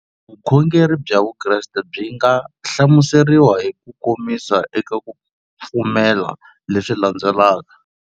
Vukhongeri bya Vukreste byi nga hlamuseriwa hi kukomisa eka ku pfumela leswi landzelaka.